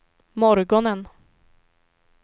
morgonen